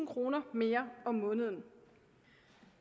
kroner mere om måneden